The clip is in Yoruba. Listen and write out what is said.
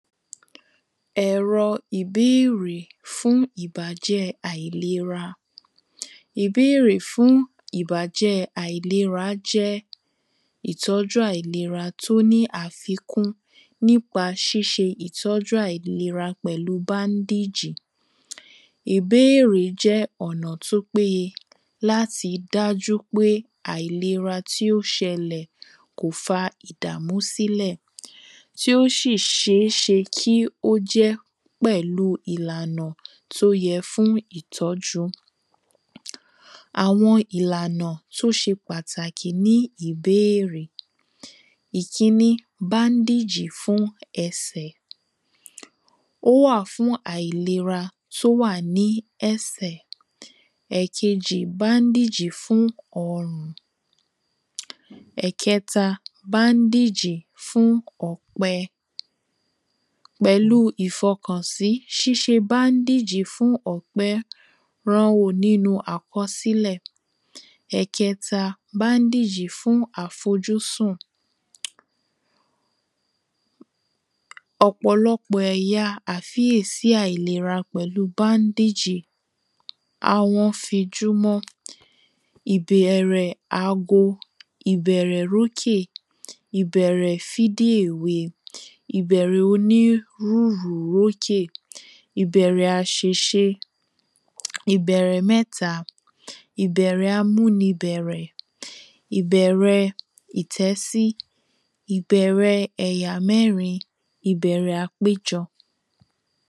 Ẹ̀rọ ìbéèrè fún ìbàjẹ́ àìlera Ìbéèrè fún ìbàjẹ́ àìlera jẹ́ ìtọ́jú àìlera tí ó ní àfikún nípa ṣíṣe ìtọ́jú àìlera pẹ̀lú bandage Ìbéèrè jẹ́ ọ̀nà tí ó péye láti dájú pé àìlera tí ó ṣẹlẹ̀ kò fa ìdàmú sílẹ̀ Tí ó sì ṣeé ṣe kí ó jẹ́ pẹ̀lú ìlànà tí ó yẹ fún ìtọ́jú Àwọn ìlànà tí ó ṣe pàtàkì ní ìbéèrè Ìkíni bandage fún ẹsẹ̀ Ó wà fún àìlera tí ó wà ní ẹsẹ̀ Ẹ̀ẹ̀kejì bandage fún ọrùn Ẹ̀ẹ̀kẹta bandage fún ọ̀pẹ Pẹ̀lú ìfọkànsí ṣíṣe bandage fún ọ̀pẹ nínú àkọsílẹ̀ Ẹ̀ẹ̀kẹta bandage fún àfojúsùn Ọ̀pọ̀lọpò ẹ̀yà a àìlera pẹ̀lú bandage Àwọn fi júmọ́ Ìbẹ̀rẹ̀ ago ìbẹ̀rẹ̀ rókè ìbẹ̀rẹ̀ ìbẹ̀rẹ̀ oni ìbẹ̀rẹ̀ aṣèse ìbẹ̀rẹ̀ mẹ́ta ìbẹ̀rẹ̀ aḿunibẹ̀rẹ̀ ìbẹ̀rẹ̀ ìtẹ́sí ìbẹ̀rẹ̀ ẹ̀yà mẹ́rin ìbẹ̀rẹ̀ àpéjọ́